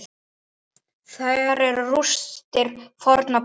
Þar eru rústir fornra búða.